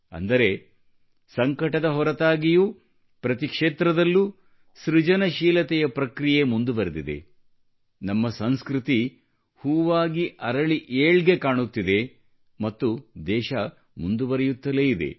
ಅಂದರೆ ಸಂಕಟದ ಹೊರತಾಗಿಯೂ ಪ್ರತಿ ಕ್ಷೇತ್ರದಲ್ಲೂ ಸೃಜನಶೀಲತೆಯ ಪ್ರಕ್ರಿಯೆ ಮುಂದುವರೆದಿದೆ ನಮ್ಮ ಸಂಸ್ಕೃತಿ ಹೂವಾಗಿ ಅರಳಿ ಏಳ್ಗೆ ಕಾಣುತ್ತಿದೆ ಮತ್ತು ದೇಶ ಮುಂದುವರೆಯುತ್ತಲೇ ಇದೆ